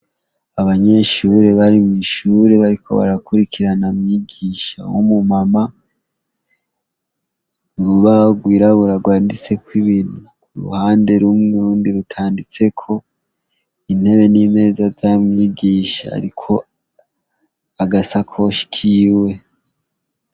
Abanyeshure bari mw'ishure bariko barakwirikirana mwigisha w'umumama. Urubaho rwirabura rwanditseko ibintu uruhande rumwe, urundi rutanditseko. Intebe n'imeza vya mwigisha iriko abasakoshi kiwe.